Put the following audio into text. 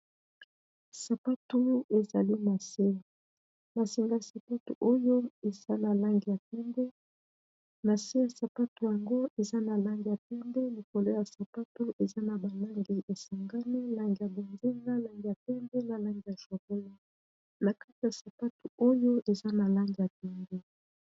Sapatu ezali nase n'a singa ya sapatu Oyo eza na langi ya pembe nase ya sapatu yango eza n'a Langi ya pembe likolo ya sapatu eza naba langi esangani langi ya bozinga langi ya pembe na langi ya chocolat nakati ya sapatu eza na langi ya pembe